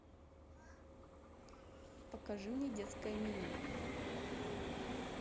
покажи мне детское меню